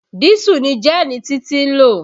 Dísù ni gẹ́ẹ̀nì Títí ń lò.